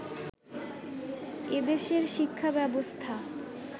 এদেশের শিক্ষা ব্যবস্থা